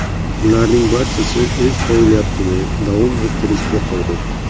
Ularning barchasi o‘z faoliyatini davom ettirishga qodir.